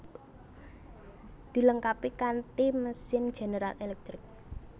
Dilengkapi kanti mesin General Electric